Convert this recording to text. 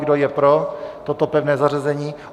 Kdo je pro toto pevné zařazení?